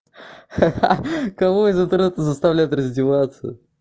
ха-ха кого из интернета заставляют раздеваться